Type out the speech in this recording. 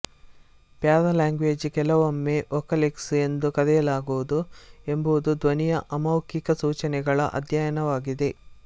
paralanguage ಕೆಲವೊಮ್ಮೆ vocalics ಎಂದೂ ಕರೆಯಲಾಗುವುದು ಎಂಬುದು ಧ್ವನಿಯ ಅಮೌಖಿಕ ಸೂಚನೆಗಳ ಅಧ್ಯಯನವಾಗಿದೆ